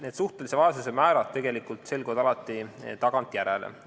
Need suhtelise vaesuse määrad selguvad tegelikult alati tagantjärele.